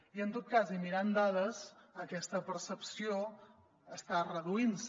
i en tot cas i mirant dades aquesta percepció està reduint se